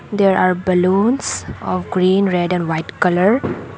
there are balloons of green red and white colour.